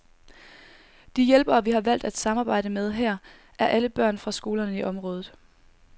De hjælpere, vi har valgt at samarbejde med her, er alle børn fra skolerne i området.